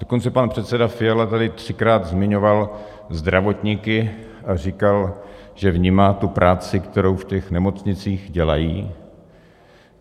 Dokonce pan předseda Fiala tady třikrát zmiňoval zdravotníky a říkal, že vnímá tu práci, kterou v těch nemocnicích dělají.